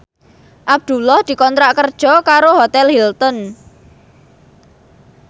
Abdullah dikontrak kerja karo Hotel Hilton